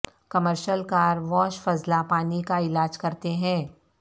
commercial car wash فضلہ پانی کا علاج کرتے ہیں